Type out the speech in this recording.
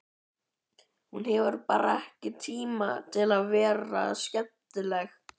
Hún hefur bara ekki tíma til að vera skemmtileg.